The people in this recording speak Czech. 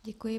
Děkuji.